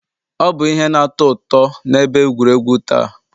Ọ bụ ihe na-atọ ụtọ na ebe egwuregwu taa.